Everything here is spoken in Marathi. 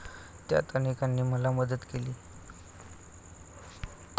त्यात अनेकांनी मला मदत केली.